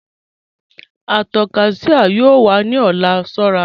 Àtàkọ́ Shia yóò wà ni ọ̀lá, ṣọ̀ra